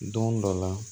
Don dɔ la